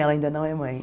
Ela ainda não é mãe.